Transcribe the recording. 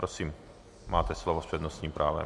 Prosím, máte slovo s přednostním právem.